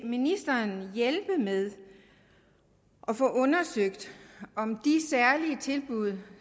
ministeren hjælpe med at få undersøgt om de særlige tilbud